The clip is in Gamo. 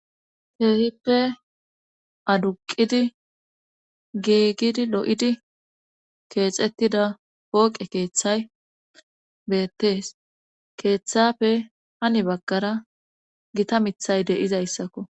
Keehippe aduqidi giigidi lo7idi keexettida pooqe keeththay beettees keeththappe hani baggara gita mithay de7izayssakko.